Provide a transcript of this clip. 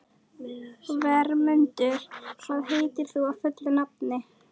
Vermundur, hvað heitir þú fullu nafni?